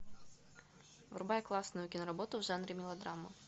врубай классную киноработу в жанре мелодрама